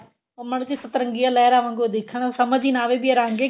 ਉਹ ਮਾੜੀ ਜੀ ਸੱਤਰੰਗੀਆਂ ਲਹਿਰਾ ਵਾੰਗੂ ਦਿਖਣ ਸਮਝ ਹੀ ਨਾ ਆਵੇ ਇਹ ਰੰਗ ਏ